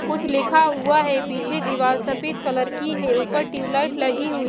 कुछ लिखा हुआ है पीछे दीवाल सफेद कलर की है ऊपर ट्यूबलाइट लगी हुई --